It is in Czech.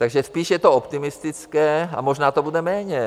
Takže spíš je to optimistické a možná to bude méně.